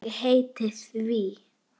Ég heiti því.